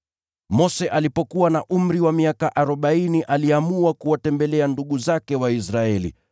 “Mose alipokuwa na umri wa miaka arobaini aliamua kuwatembelea ndugu zake Waisraeli.